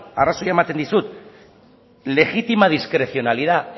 arrazoia ematen dizut legítima discrecionalidad